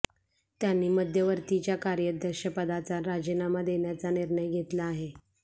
त्यांनी मध्यवर्तीच्या कार्याध्यक्षपदाचा राजीनामा देण्याचा निर्णय घेतला आहे